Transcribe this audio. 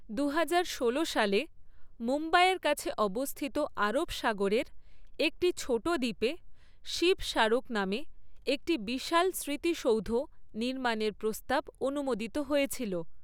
দু হাজার ষোলো সালে মুম্বাইয়ের কাছে অবস্থিত আরব সাগরের একটি ছোট দ্বীপে শিব স্মারক নামে একটি বিশাল স্মৃতিসৌধ নির্মাণের প্রস্তাব অনুমোদিত হয়েছিল।